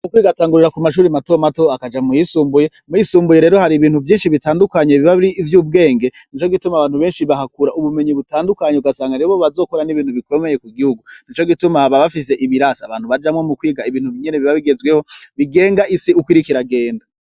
Mu kwiga batagurira ku mashure matomato bakaja muyisumbuye, muyisumbuye rero har'ibintu vyinshi bitadukanye biba ar'ivyubwenge nico gituma abantu benshi bahakura ubumenyi bitadukanye ugasanga nibo bazokora nibintu bikomeye kugihungu, nico gituma baba bafise ibirasi abantu baja kwigiramwo ibintu biba bigezweho bigenga uko isi iriko iragenda.